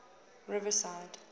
riverside